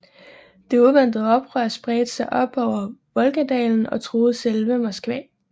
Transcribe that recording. Det uventede oprør spredte sig op over Volgadalen og truede selve Moskva